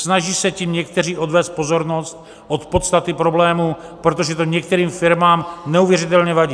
Snaží se tím někteří odvést pozornost od podstaty problému, protože to některým firmám neuvěřitelně vadí.